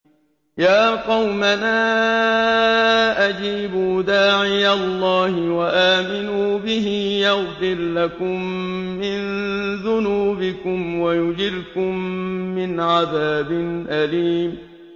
يَا قَوْمَنَا أَجِيبُوا دَاعِيَ اللَّهِ وَآمِنُوا بِهِ يَغْفِرْ لَكُم مِّن ذُنُوبِكُمْ وَيُجِرْكُم مِّنْ عَذَابٍ أَلِيمٍ